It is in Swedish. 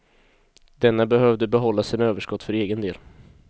Denna behövde behålla sina överskott för egen del.